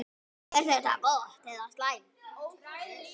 Er þetta gott eða slæmt?